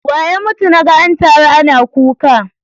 Wane ya mutu naga an taru ana kuka?